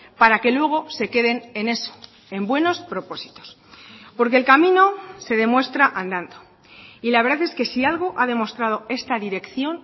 para que luego se queden en eso en buenos propósitos porque el camino se demuestra andando y la verdad es que si algo ha demostrado esta dirección